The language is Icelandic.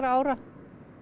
ára